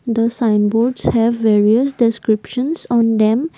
the sign boards have various descriptions on them.